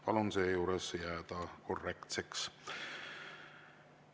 Palun sealjuures jääda korrektseks.